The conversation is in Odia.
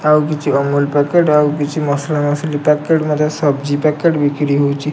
ଆଉ କିଛି ଅମୂଲ ପ୍ୟାକେଟ ଆଉ କିଛି ମସଲା ମସିଲି ପ୍ୟାକେଟ ମଧ୍ୟ ସବଜି ପ୍ୟାକେଟ ବିକ୍ରି ହଉଚି।